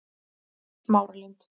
Smáralind